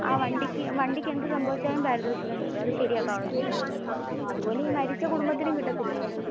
ആ വണ്ടിക്കു എന്ത് സംഭവിച്ചാലും പരിധോഷികം കിട്ടും, അത് ശെരിയകൻ ഉള്ളത്. അതുപോലെ ആ മരിച്ച കുടുംബത്തിനും കിട്ടാതില്ലേ.